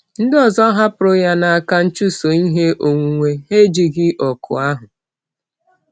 Ndị ọzọ hapụrụ ya n’aka nchụso ihe onwunwe, ha ejighị òkù ahụ.